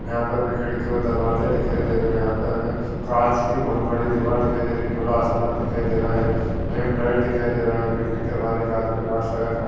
यहाँ पे हमें खिड़की और दरवाजे दिखाई दे रहे हैं यहाँ पे हमें कांच की बहुत बड़ी दीवार दिखाई दे रही है खुला आसमान दिखाई दे रहा है लैम्प लाइट दिखाई दे रहा है बिल्डिंग के बाहर एक आदमी मास्क लगाए खड़ा --